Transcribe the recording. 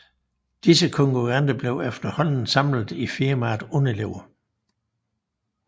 Disse konkurrenter blev efterhånden samlet i firmaet Unilever